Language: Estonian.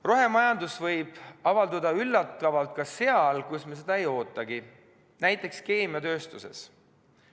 Rohemajandus võib avalduda üllatavalt ka seal, kus me seda ei ootagi, näiteks keemiatööstuses.